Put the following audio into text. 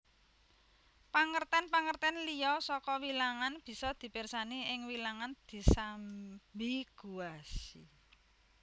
Pangertèn pangertèn liya saka wilangan bisa dipirsani ing Wilangan disambiguasi